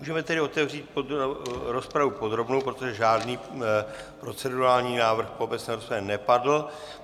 Můžeme tedy otevřít rozpravu podrobnou, protože žádný procedurální návrh v obecné rozpravě nepadl.